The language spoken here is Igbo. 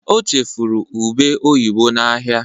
o chefuru ube oyibo na ahia